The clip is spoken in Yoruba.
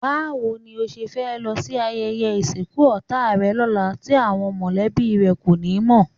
Báwo ni o ṣe fẹ́ lọ sí ayẹyẹ ìsìnkú ọ̀tá rẹ lọ́la tí àwọn mọ̀lẹ́bí rẹ kò ní mọ̀?